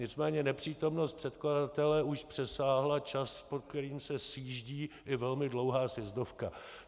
Nicméně nepřítomnost předkladatele už přesáhla čas, po který se sjíždí i velmi dlouhá sjezdovka.